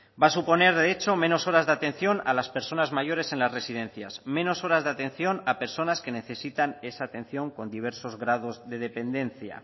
va a suponer de hecho menos horas de atención a las personas mayores en las residencias menos horas de atención a personas que necesitan esa atención con diversos grados de dependencia